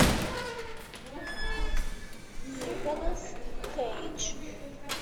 николас кейдж